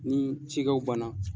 Ni cikɛw ban na.